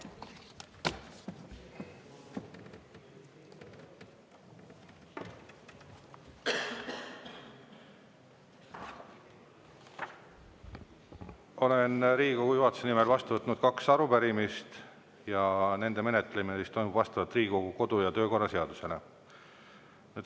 Olen Riigikogu juhatuse nimel vastu võtnud kaks arupärimist ja nende menetlemine toimub vastavalt Riigikogu kodu- ja töökorra seadusele.